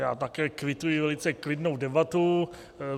Já také kvituji velice klidnou debatu.